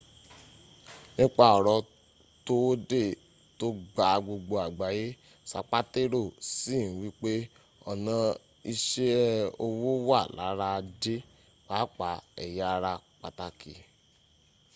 nípa ọ̀rọ̀ towódé tò gba gbogbo àgbáyé sapatero sì n wípé ọ̀nà ìṣe owó wà lára ajé pàápàá èya ara pàtàkì